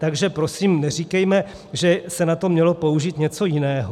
Takže prosím neříkejme, že se na to mělo použít něco jiného.